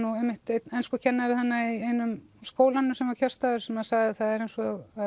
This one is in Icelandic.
einmitt einn enskukennari þarna í einum skólanum sem var kjörstaður sem sagði að það væri eins og